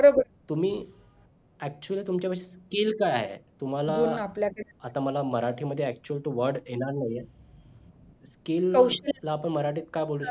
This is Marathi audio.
तुम्ही actually तुमच्या पाशी skill काय आहे तुम्हाला आता मला मराठी मध्ये actually तो word येणार नाही आहे skill ला आपण मराठीत काय बोलू